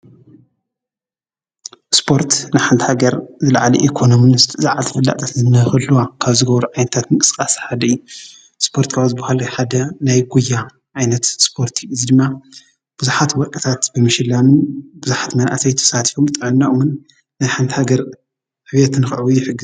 ስጶርት ንሓንቲ ሃገር ዝለዓሊ ኢኮኖምንስት ዝዓቲ ፍላእጠት ነኸልዋ ካብ ዝገብሩ ኣይንታት ምቕጽቃስ ሓደኢ ስጶርት ካወዝብሃሉይሓዳ ናይ ጐያ ኣይነት ስጶርቲ እዝይ ድማ ብዙኃት ወርቀታት ብምሽላንን ብዙኃት መንእሰይ ትፍሳቲፎም ጠዕናኦምን ናይ ሓንቲሃገር ኅብትንክዕዊ ይሕግዝ።